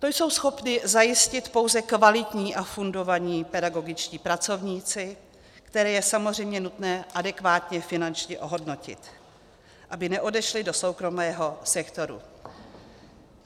To jsou schopni zajistit pouze kvalitní a fundovaní pedagogičtí pracovníci, které je samozřejmě nutné adekvátně finančně ohodnotit, aby neodešli do soukromého sektoru.